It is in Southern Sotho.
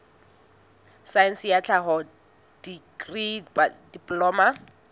saense ya tlhaho dikri diploma